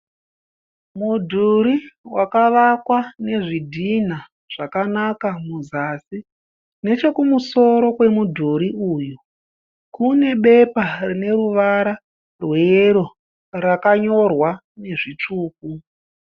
Mudhuri wakavakwa nezvidhinha zvakanaka muzasi. Nechekumusoro kwemudhuri uyu kune bepa rine ruvara rweyero rakanyorwa nezvitsvuku.